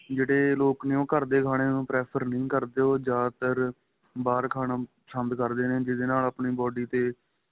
ਜਿਹੜੇ ਲੋਕ ਨੇ ਉਹ ਘਰ ਦੇ ਖਾਣੇ ਨੂੰ prefer ਨਹੀਂ ਕਰਦੇ ਉਹ ਜਿਆਦਾਤਰ ਬਹਾਰ ਖਾਣਾ ਪਸੰਦ ਕਰਦੇ ਨੇ ਜਿਹਦੇ ਨਾਲ ਆਪਣੀ body ਤੇ